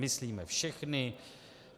Myslíme všechny?